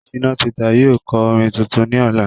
shina Peter yóò ko orin tuntun ní Ọla